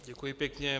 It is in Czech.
Děkuji pěkně.